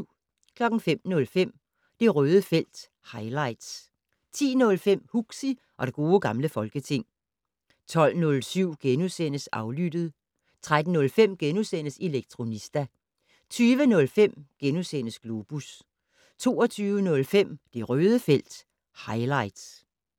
05:05: Det Røde felt - highlights 10:05: Huxi og det gode gamle folketing 12:07: Aflyttet * 13:05: Elektronista * 20:05: Globus * 22:05: Det Røde felt - highlights